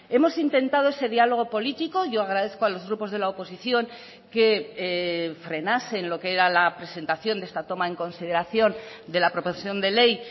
hemos intentado ese diálogo político yo agradezco a los grupos de la oposición que frenasen lo que era la presentación de esta toma en consideración de la proposición de ley